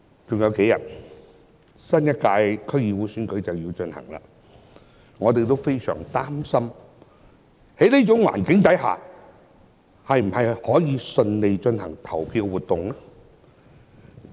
只餘下數天，新一屆區議會選舉便要進行，我們也非常擔心在這種環境下，是否仍能順利進行投票活動？